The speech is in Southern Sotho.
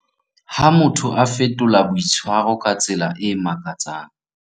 Ha motho a fetola boitshwaro ka tsela e makatsang.